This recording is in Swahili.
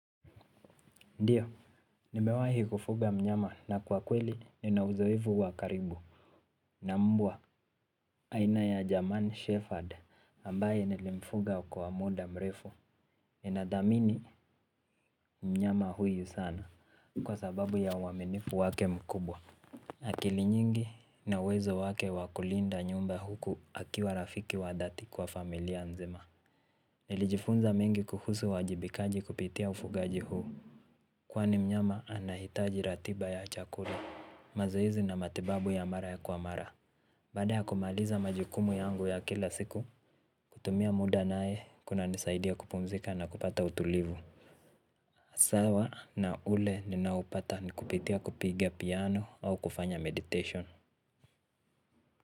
Ndiyo, nimewahi kufuga mnyama na kwa kweli nina uzoevu wakaribu. Na mbwa, aina ya jaman Shefford ambaye nilimfuga kwa muda mrefu ninadamini mnyama huyu sana kwa sababu ya uwaminifu wake mkubwa. Akili nyingi na uwezo wake wakulinda nyumba huku akiwa rafiki wa dati kwa familia nzima. Nilijifunza mengi kuhusu wajibikaji kupitia ufugaji huu. Kwani mnyama anahitaji ratiba ya chakura, mazohezi na matibabu ya mara ya kuamara. Bada ya kumaliza majukumu yangu ya kila siku, kutumia muda nae kunanisaidia kupumzika na kupata utulivu. Asawa na ule ninaupata ni kupitia kupigia piano au kufanya meditation.